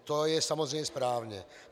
To je samozřejmě správně.